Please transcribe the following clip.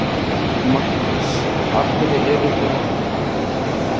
Magnús: Af hverju eruð þið að þessu?